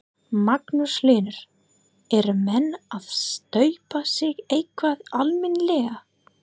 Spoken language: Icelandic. Magnús Hlynur: Eru menn að staupa sig eitthvað almennilega?